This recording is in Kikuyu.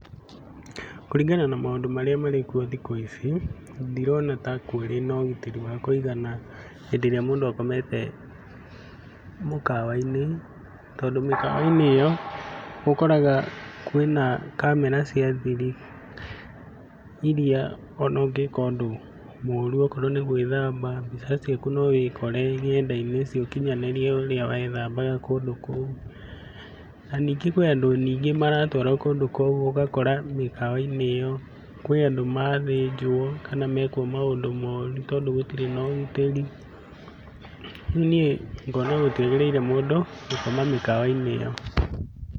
Kũringana na maũndũ marĩa marĩkwo thikũ ici ndirona ta kũrĩ na ũgitĩri wa kũigana hĩndĩ ĩrĩa mũndũ akomete mũkawa-inĩ, tondũ mĩkawa-inĩ ĩo ũkoraga kwĩna kamera cia thiri iria ona ũngĩka ũndũ mũru okorwo nĩgũĩthamba. Mbica ciaku nowĩkore nenda-inĩ cia ũkinyanĩria ũrĩa wethambaga kũndũ kũu. Na nyingĩ kwĩna nyingĩ andũ maratwarwo kũndũ kũu ũgakora mĩkawa-inĩ ĩo kwĩ andũ mathĩnjwo kana mekwo maũndũ noru tondũ gũtirĩ na ũgitĩri. Rĩu niĩ ngina gũtiagĩrĩire mũndũ gũkoma mĩkawa-inĩ ĩo.